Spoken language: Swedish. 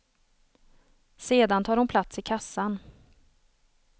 Sedan tar hon plats i kassan.